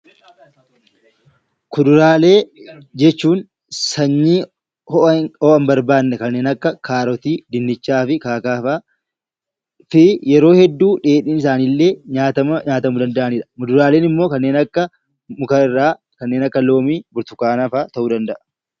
Kuduraalee jechuun sanyii ho'a hin barbaanne kanneen akka kaarotii , dinnichaa fi kanneen kana fakkaatan. Yeroo hedduu dheedhiin isaanii illee nyaatamuu ni danda'a . Muduraaleen immoo kanneen akka loomii, burtukaana fa'aa ta'uu danda'a